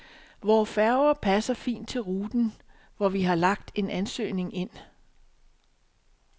Vore færger passer fint til ruten, hvor vi har lagt en ansøgning ind.